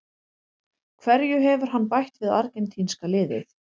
Hverju hefur hann bætt við argentínska liðið?